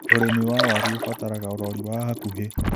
ũrĩmi wa waru ũbataraga ũrori wa hakuhĩ.